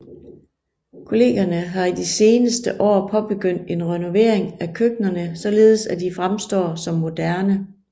Kollegierne har i de seneste år påbegyndt en renovering af køkkenerne således at de fremstår som moderne